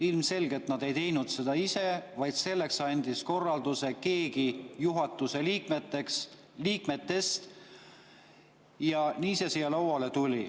Ilmselgelt ei teinud nad seda ise, vaid selleks andis korralduse keegi juhatuse liikmetest ja nii see siia lauale tuli.